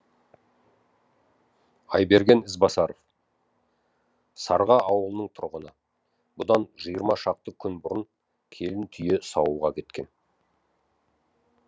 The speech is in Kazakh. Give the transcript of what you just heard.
айберген ізбасаров сарға ауылының тұрғыны бұдан жиырма шақты күн бұрын келін түйе саууға кеткен